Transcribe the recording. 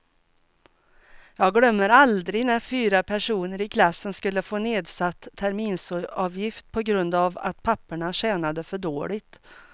Jag glömmer aldrig när fyra personer i klassen skulle få nedsatt terminsavgift på grund av att papporna tjänade för dåligt.